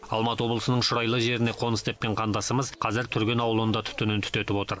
алматы облысының шұрайлы жеріне қоныс тепкен қандасымыз қазір түрген ауылында түтінін түтетіп отыр